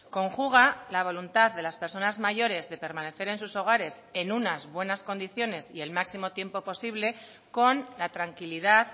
conjuga la voluntad de las personas mayores de permanecer en sus hogares en unas buenas condiciones y el máximo tiempo posible con la tranquilidad